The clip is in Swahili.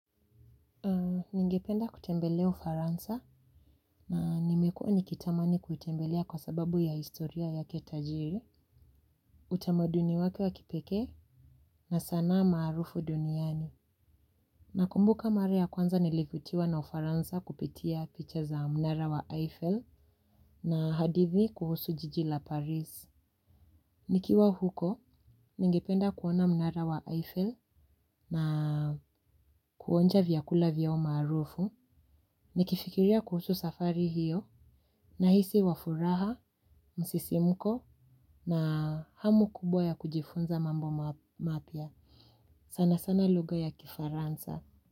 Ningependa kutembele ufaransa na nimekua nikitamani kuitembelea kwa sababu ya historia yake tajiri utamaduni wake wa kipekee na sanaa maarufu duniani. Nakumbuka mara ya kwanza nilivutiwa na ufaransa kupitia picha za mnara wa Eiffel na hadithi kuhusu jiji la Paris. Nikiwa huko, ningependa kuona mnara wa Eiffel na kuonja vyakula vyao maarufu nikifikiria kuhusu safari hiyo nahisi wa furaha msisimko na hamu kubwa ya kujifunza mambo mapya. Sana sana lugha ya kifaransa.